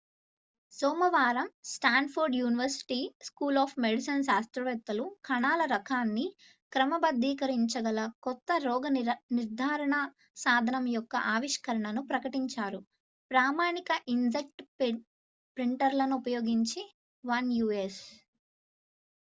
సోమవారం Stanford university school of medicine శాస్త్రవేత్తలు కణాల రకాన్ని క్రమబద్ధీకరించగల కొత్త రోగనిర్ధారణ సాధనం యొక్క ఆవిష్కరణను ప్రకటించారు ప్రామాణిక ఇంక్జెట్ ప్రింటర్లను ఉపయోగించి 1 యు.ఎస్